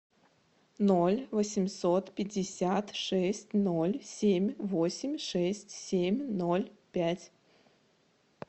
ноль восемьсот пятьдесят шесть ноль семь восемь шесть семь ноль пять